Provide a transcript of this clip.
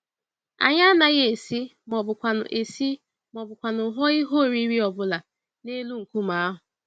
Anyị anaghị esi, mọbụkwanụ esi, mọbụkwanụ hụọ ihe oriri ọbula n'elu nkume ahụ.